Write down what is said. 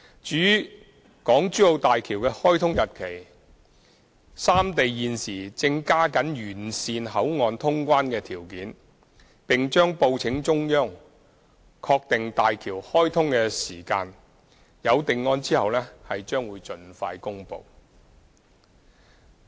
至於大橋的開通日期，三地現時正加緊完善口岸通關條件，並將報請中央確定大橋開通的時間，有定案後將盡快公布。